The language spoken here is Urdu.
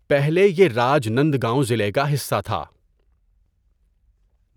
پہلے یہ راج نندگاؤں ضلع کا حصہ تھا۔